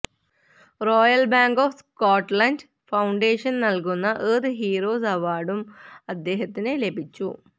Royal Bank of Scotland Foundation നല്കുന്ന Earth Heroes അവാര്ഡും അദ്ദേഹത്തിന് ലഭിച്ചു